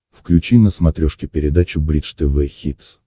включи на смотрешке передачу бридж тв хитс